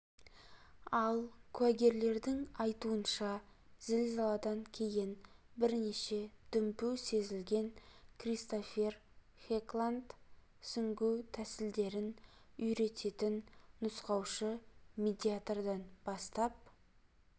ал куәгерлердің айтуынша зілзаладан кейін бірнеше дүмпу сезілген кристофер хекланд сүңгу тәсілдерін үйрететін нұсқаушы медиатордан бастап